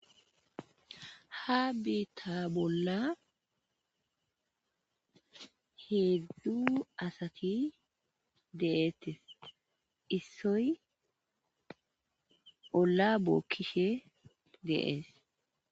Ha beeta bolla heedzdu asati de7eettes issoy bolla bookkishe deees.